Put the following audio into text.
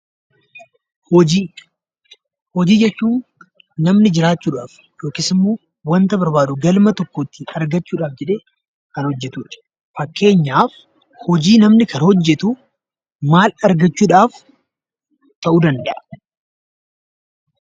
Hojii: hojii jechuun namni jiraachuudhaaf yookiis immoo waanta barbaadu galma tokko itti argachuudhaaf jedhee kan hojjetu jechuudha. Fakkeenyaaf, hojii namni kana hojjetu maal argachuudhaaf ta'uu danda'a?